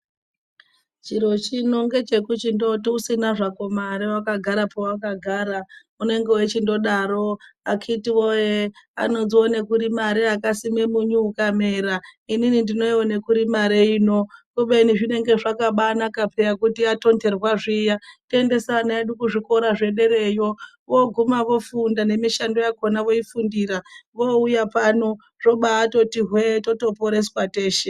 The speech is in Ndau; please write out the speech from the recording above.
Chiro chino ngechekuchindoti usinazvako mare wakagara pawakagara unenge wechindodaro akiti woye anodzionekuri mare akasime munyu ukamera inini ndinoiwonekuri mare ino kubeni zvinonga zvakaba anaka peya kuti yatonherwa zviya toendese ana edu kuzvikora zvederayo voguma vofunda nemishando yakona voifundira voyuya pano zvobaatoti hwe, totoporeswa teshe.